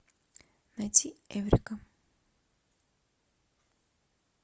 найти эврика